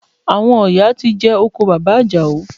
Àwọn ọ̀yà ti jẹ oko bàbá Àjàó